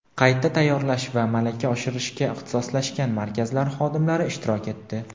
qayta tayyorlash va malaka oshirishga ixtisoslashgan markazlar xodimlari ishtirok etdi.